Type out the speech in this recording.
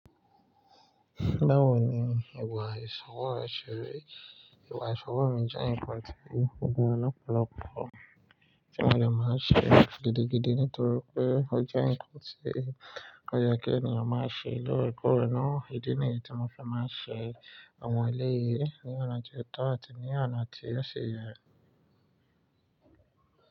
Báwo ni ìwà ìṣòwò rẹ ṣe rí? Ìwà ìṣòwò mi jẹ́ ǹkan tó gbọ̀n lọ́pọ̀lọ̀pọ̀ tí mo lè máa ṣe gidigidi nítorí pé ó jẹ́ ǹkan tí ó yẹ kí ènìyàn máa ṣe lóòrèkóòrè náà. Ídí nìyẹn tí mo fi máa ṣe ọmọ ilé yìí ní ọ̀nà tó tọ́ àti ní ọ̀nà tí ó ṣe yẹ.